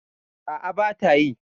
A'a, bata yi.